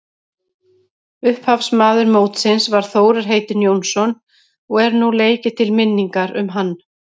Upphafsmaður mótsins var Þórir heitinn Jónsson og er nú leikið til minningar um hann.